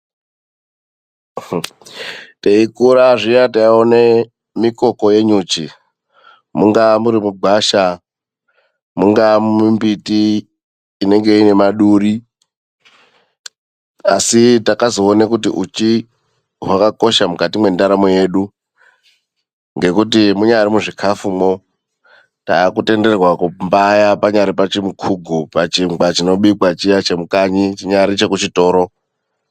Teikura zviya taiona mikoko yenyuchi mungaa muri mugwasha mungaa mumbiti inenge ine maduri asi takazoona kuti uchi wakakosha mukati mendaramo yedu, ngekuti mungari muzvikafumo takutenderwa kumbaya panyari pachimukugu, pachingwa chiya chekubika kukanyi, chinyari chekuchitoro.